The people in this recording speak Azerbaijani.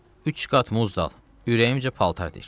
Üç qat muz dal, ürəyimcə paltar tik.